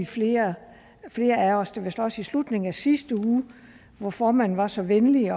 flere flere af os det vist også i slutningen af sidste uge hvor formanden var så venlig